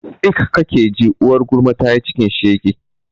tsik kake ji, uwar gulma tayi cikin shege